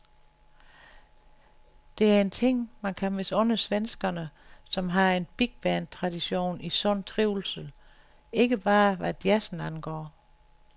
Det er en ting, man kan misunde svenskerne, som har en bigband-tradition i sund trivsel, ikke bare hvad jazzen angår.